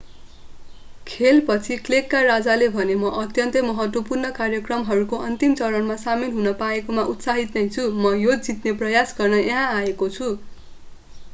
खेलपछि क्लेका राजाले भने म अत्यन्तै महत्त्वपूर्ण कार्यक्रमहरूको अन्तिम चरणमा सामेल हुन पाएकोमा उत्साहित नै छु म यो जित्ने प्रयास गर्न यहाँ आएको छु